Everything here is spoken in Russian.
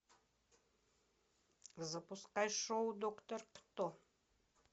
запускай шоу доктор кто